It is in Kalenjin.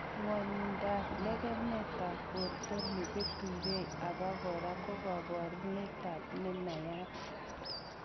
Ng'wonindab lekemetab borto neketukei obokora ko koborunetab nenayat.